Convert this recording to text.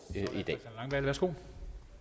herre værsgo